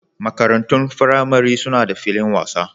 Makarantun firamare suna da filin wasa.